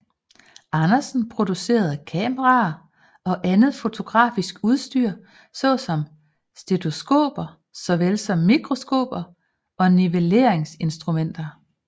Andersen producerede kameraer og andet fotografisk udstyr såsom stereoskoper såvel som mikroskoper og Nivelleringsinstrumenter